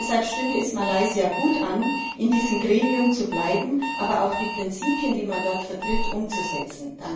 Deshalb stünde es Malaysia gut an, in diesem Gremium zu bleiben, aber auch die Prinzipien, die man dort vertritt, umzusetzen.